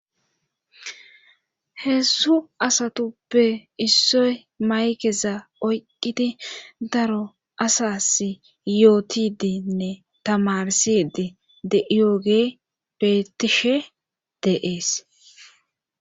hezhu asatuppe issoy maykeza oyqqidi daro asas yootidinne tamarsidi de yooge betishe deees